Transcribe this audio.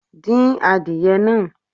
Dín adìyẹ náà